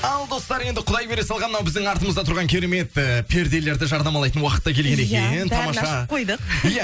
ал достар енді құдай бере салған мынау біздің артымызда тұрған керемет ііі перделерді жарнамалайтын уақыт та келген екен иә тамаша бәрін ашып қойдық иә